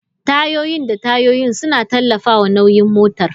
Tayoyin da tayoyin suna tallafawa nauyin motar.